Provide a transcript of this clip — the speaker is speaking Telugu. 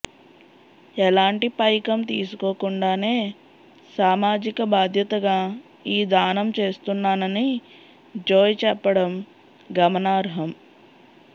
ఎలాంటి పైకం తీసుకోకుండానే సామాజిక బాధ్యతగా ఈ దానం చేస్తున్నానని జోయ్ చెప్పడం గమనార్హం